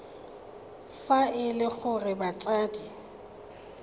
fa e le gore batsadi